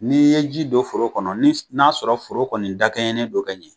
N'i ye ji don foro kɔnɔ ni n'a sɔrɔ foro kɔni dakɛɲɛnen don ka ɲɛ,